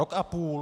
Rok a půl.